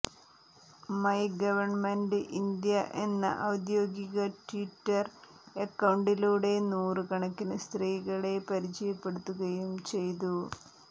my government India എന്ന ഔദ്യോഗിക Twitter അക്കൌണ്ടിലൂടെ നൂറ് കണക്കിന് സ്ത്രീകളെ പരിചയപ്പെടുത്തുകയും ചെയ്തു